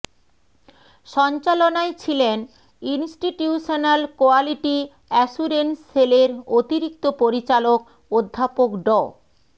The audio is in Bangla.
সঞ্চালনায় ছিলেন ইন্সটিটিউশনাল কোয়ালিটি অ্যাশুরেন্স সেল এর অতিরিক্ত পরিচালক অধ্যাপক ড